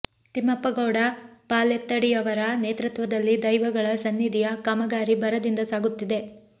ತಿಮ್ಮಪ್ಪ ಗೌಡ ಪಾಲೆತ್ತಡಿಯವರ ನೇತೃತ್ವದಲ್ಲಿ ದೈವಗಳ ಸನ್ನಿಧಿಯ ಕಾಮಗಾರಿ ಭರದಿಂದ ಸಾಗುತ್ತಿದೆ